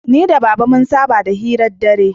Ni da baba mun saba da hiran dare